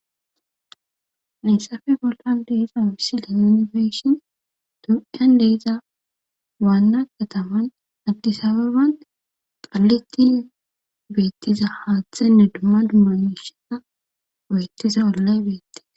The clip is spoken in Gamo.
Hayssafe bollan de7iza misile nuuni be7ishin tophiyan de7iza waanna katamay addis ababa qallitin beettiza haathenne dumma dumma miisha oykkiza ollay beettees.